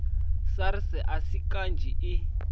sars a si kanzhi i